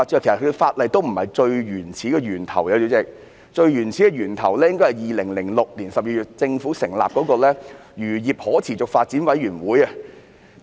主席，最原始的源頭應該是政府在2006年12月成立的漁業可持續發展委員會。